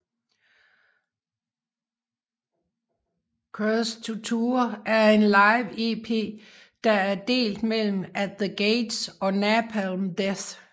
Cursed to Tour er en live EP der er delt mellem At the Gates og Napalm Death